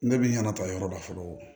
Ne bi ɲaga ta yɔrɔ da fɔlɔ